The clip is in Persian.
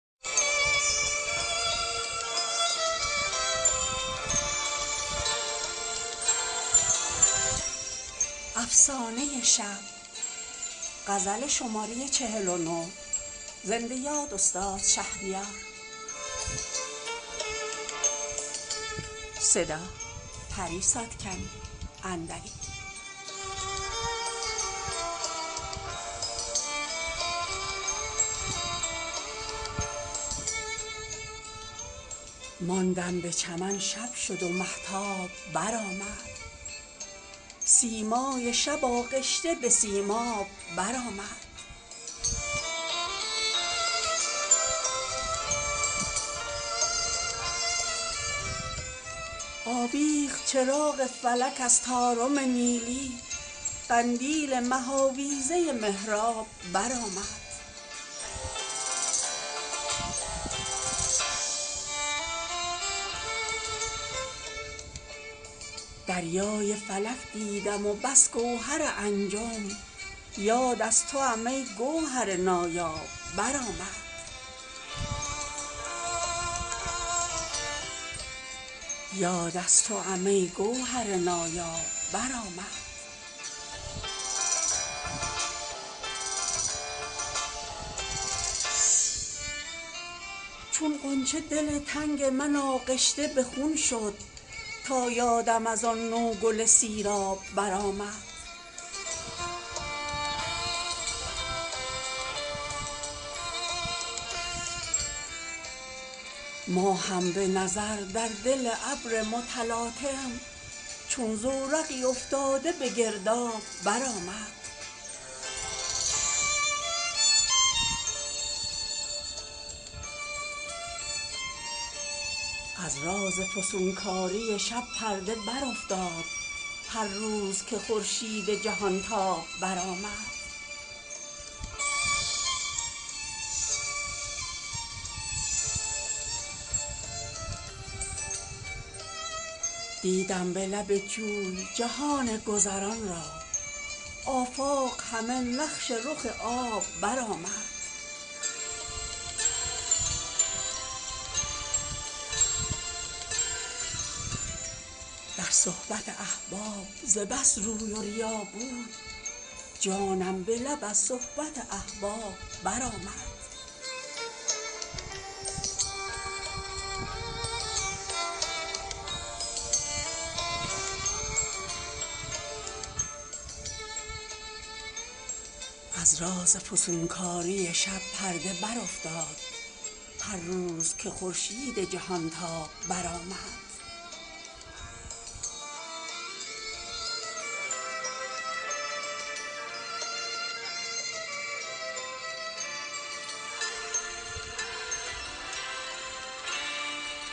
ماندم به چمن شب شد و مهتاب برآمد سیمای شب آغشته به سیماب برآمد آویخت چراغ فلک از طارم نیلی قندیل مه آویزه محراب برآمد دریای فلک دیدم و بس گوهر انجم یاد از توام ای گوهر نایاب برآمد شد مست چو من بلبل عاشق به چمنزار تا لاله به کف جام می ناب برآمد تصویر خیال تو پری کرد تجلی چون شمع به خلوتگه اصحاب برآمد چون غنچه دل تنگ من آغشته به خون شد تا یادم از آن نوگل سیراب برآمد ماهم به نظر در دل ابر متلاطم چون زورقی افتاده به گرداب برآمد ای مرغ حق افسانه شبگیر رها کن در دیده مستان چمن خواب برآمد از راز فسونکاری شب پرده برافتاد هر روز که خورشید جهانتاب برآمد دیدم به لب جوی جهان گذران را آفاق همه نقش رخ آب برآمد از کید مه و مهر به راحت نکند خواب آن کس که در این منزل ناباب برآمد در صحبت احباب ز بس روی و ریا بود جانم به لب از صحبت احباب برآمد کی بوده وفا یاد حریفان مکن ای دل پندار که آن واقعه در خواب برآمد